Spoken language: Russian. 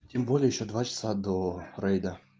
тем более ещё два часа до рейда